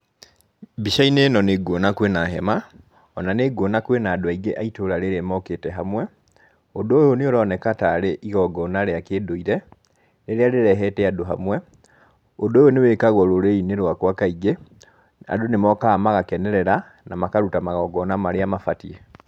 Mbica-inĩ ĩno nĩ nguona kwĩna hema, ona nĩ nguona kwĩna andũ aingĩ a itũra rĩrĩ mokĩte hamwe, ũndũ ũyũ nĩ ũroneka tarĩ igongona rĩa kĩndũire, rĩrĩa rĩrehete andũ hamwe. Ũndũ ũyũ nĩ wĩkagwo rũrĩrĩ-inĩ rwakwa kaingĩ, andũ nĩ mokaga magakenerera, na makaruta magongona marĩa mabatiĩ